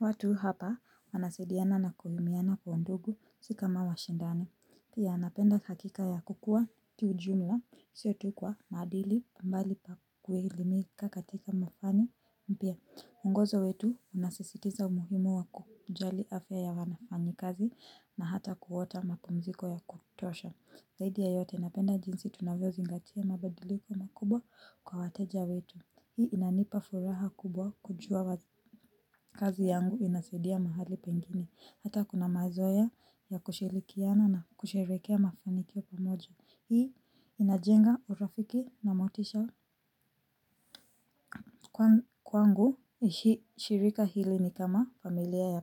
Watu hapa wanasidiana na kuhumiana kwa ndugu si kama washindane. Pia anapenda hakika ya kukua tu jumla sio tu kwa maadili mbali kuhilimika katika mafani. Pia ungozo wetu unasisitiza umuhimu wakujali afya ya wanafanyi kazi na hata kuota mapumziko ya kutosha. Zaidi ya yote napenda jinsi tunavyozingatia mabadiliko makubwa kwa wateja wetu. Hii inanipa furaha kubwa kujua kazi yangu inasaidia mahali pengeni. Hata kuna mazoea ya kushilikiana na kusherekea mafanikio pamoja. Hii inajenga urafiki na motisha. Kwangu shirika hili ni kama familia ya.